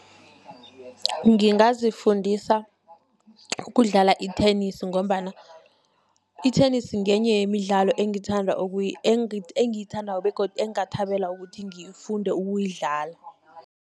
Ngingazifundisa ukudlala i-tennis, ngombana i-tennis ngenye yemidlalo engithanda, engiyithandako begodu engingathembela ukuthi ngifunde ukuyidlala.